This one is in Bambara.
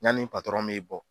Yani patɔrɔn bɛ bɔ.